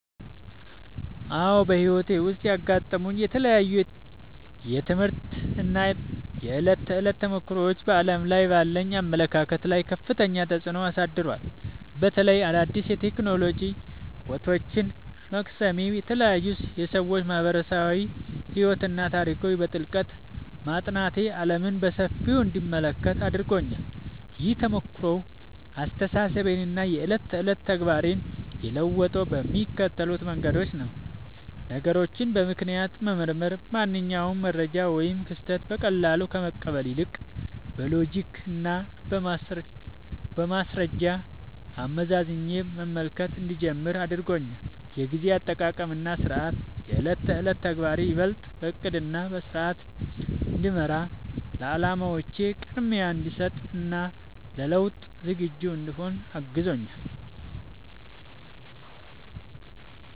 አዎ፣ በሕይወቴ ውስጥ ያጋጠሙኝ የተለያዩ የትምህርት እና የዕለት ተዕለት ተሞክሮዎች በዓለም ላይ ባለኝ አመለካከት ላይ ከፍተኛ ተጽዕኖ አሳድረዋል። በተለይም አዳዲስ የቴክኖሎጂ እውቀቶችን መቅሰሜ፣ የተለያዩ የሰዎች ማኅበራዊ ሕይወትና ታሪኮችን በጥልቀት ማጥናቴ ዓለምን በሰፊው እንድመለከት አድርጎኛል። ይህ ተሞክሮ አስተሳሰቤንና የዕለት ተዕለት ተግባሬን የለወጠው በሚከተሉት መንገዶች ነው፦ ነገሮችን በምክንያት መመርመር፦ ማንኛውንም መረጃ ወይም ክስተት በቀላሉ ከመቀበል ይልቅ፣ በሎጂክና በማስረጃ አመዛዝኜ መመልከት እንድጀምር አድርጎኛል። የጊዜ አጠቃቀምና ሥርዓት፦ የዕለት ተዕለት ተግባሬ ይበልጥ በዕቅድና በሥርዓት እንዲመራ፣ ለዓላማዎቼ ቅድሚያ እንድሰጥ እና ለለውጥ ዝግጁ እንድሆን አግዞኛል።